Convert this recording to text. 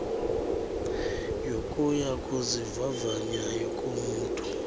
yokuya kuzivavanya komntu